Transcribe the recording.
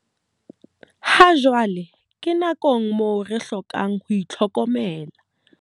Hajwale re nakong moo re hlokang ho itlhokomela.